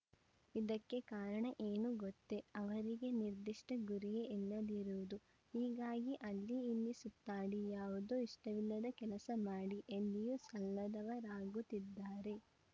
ಇದಕ್ಕೆ ಕಾರಣ ಏನು ಗೊತ್ತೇ ಅವರಿಗೆ ನಿರ್ದಿಷ್ಟಗುರಿಯೇ ಇಲ್ಲದಿರುವುದು ಹೀಗಾಗಿ ಅಲ್ಲಿ ಇಲ್ಲಿ ಸುತ್ತಾಡಿ ಯಾವುದೋ ಇಷ್ಟವಿಲ್ಲದ ಕೆಲಸ ಮಾಡಿ ಎಲ್ಲಿಯೂ ಸಲ್ಲದವರಾಗುತ್ತಿದ್ದಾರೆ